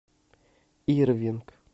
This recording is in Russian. ирвинг